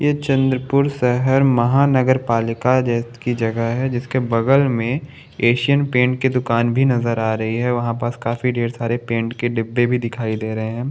यह चंद्रपुर शहर महानगरपालिका की जगह है जिसके बगल में एशियन पेंट की दूकान भी नजर आ रही है वहां पास काफी ढेर सारे पेंट के डिब्बे भी दिखाई दे रहे है।